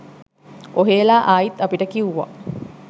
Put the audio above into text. ඔහේලා ආයිත් අපිට කිව්වා.